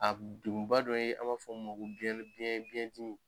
A dɔ ye an b'a fɔ mun ma ko biyɛn biyɛn biyɛndimi